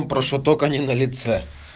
прошу только не на лице